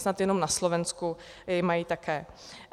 Snad jenom na Slovensku ji mají také.